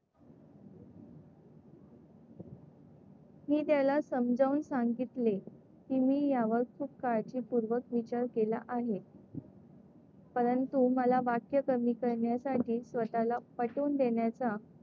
मी त्याला समजावून सांगितले की मी यावर खूप काळजीपूर्वक विचार केला आहे परंतु मला वाक्य कमी करण्यासाठी स्वतःला पटवून देण्याचा,